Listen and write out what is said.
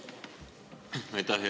Aitäh!